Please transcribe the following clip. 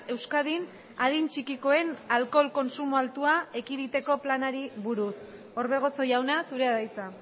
euskadin adin txikikoen alkohol kontsumo altua ekiditeko planari buruz orbegozo jauna zurea da hitza